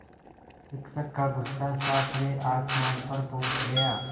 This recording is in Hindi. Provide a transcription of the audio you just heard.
शिक्षक का गुस्सा सातवें आसमान पर पहुँच गया